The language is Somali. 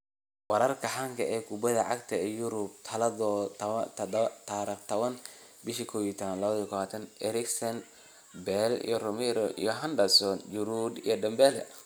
Wararka xanta kubada cagta Yurub Talaado 10.11.2020: Eriksen, Bale, Romero, Henderson, Giroud, Dembele